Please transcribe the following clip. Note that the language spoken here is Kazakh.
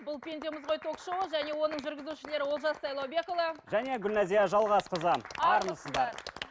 бұл пендеміз ғой ток шоуы және оның жүргізушілері олжас сайлаубекұлы және гүлнәзия жалғасқызы армысыздар